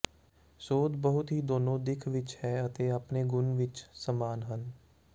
ਸੋਧ ਬਹੁਤ ਹੀ ਦੋਨੋ ਦਿੱਖ ਵਿਚ ਹੈ ਅਤੇ ਆਪਣੇ ਗੁਣ ਵਿੱਚ ਸਮਾਨ ਹਨ